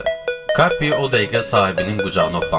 Kapi o dəqiqə sahibinin qucağına hoppandı.